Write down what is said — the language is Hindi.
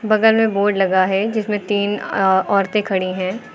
बगल में बोर्ड लगा है जिसमें तीन अ औरतें खड़ी हैं।